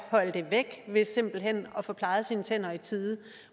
ved simpelt hen at få plejet sine tænder i tide